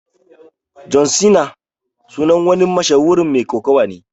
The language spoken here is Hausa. John Cena sunan wani mashahuri Mai kokawa ne.